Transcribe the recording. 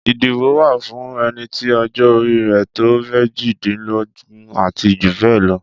Ìdìbò wa fún ẹnití ọjọ́ orí rẹ̀ tó méjìdínlógún ati jù bẹ́ẹ̀ lọ